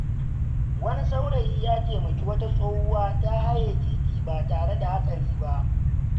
Wani saurayi ya taimaki wata tsohuwa ta haye titi ba tare da hatsari ba.